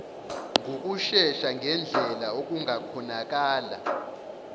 ngokushesha ngendlela okungakhonakala